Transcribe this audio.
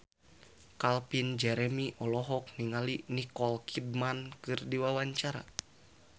Calvin Jeremy olohok ningali Nicole Kidman keur diwawancara